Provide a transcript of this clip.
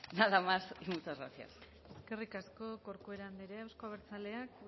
nada más y muchas gracias eskerrik asko corcuera andrea euzko abertzaleak